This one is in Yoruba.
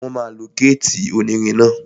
Wọ́n máa lo gétì onírin náà